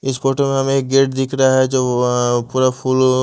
इस फोटो में हमे एक गेट दिख रहा है जो व अ पूरा फुल --